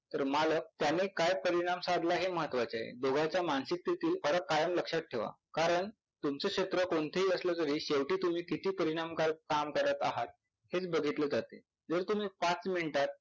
तर मालक त्याने काय परिणाम साधला हे महत्वाचे आहे. दोघांच्या मानसिक स्थितीत फरक कायम लक्षात ठेवा कारण तुमच क्षेत्र कोणतही असल तरी शेवटी तुम्ही किती परिणामकारक काम करत आहात हेच बघितलं जात.